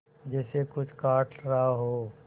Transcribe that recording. जैसे कुछ काट रहा हो